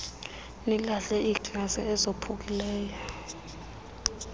nilahle iiglasi ezophukileyo